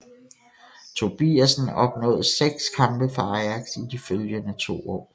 Tobiasen opnåde 6 kampe for Ajax i de følgende to år